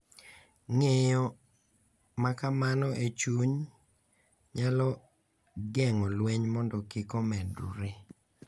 Ng’eyo ma kamano e chuny nyalo geng’o lweny mondo kik omedore .